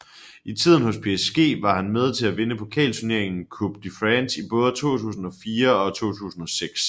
I tiden hos PSG var han med til at vinde pokalturneringen Coupe de France i både 2004 og 2006